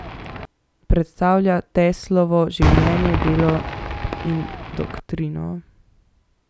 Predstavlja Teslovo življenje, delo in doktrino.